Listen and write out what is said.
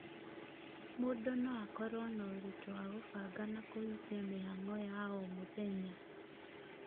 mũndũ no akorwo na ũritũ wa kũbanga na kũhingia mĩhang'o ya o mũthenya